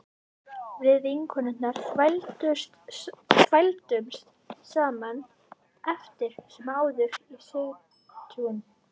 Við vinkonurnar þvældumst saman eftir sem áður í Sigtún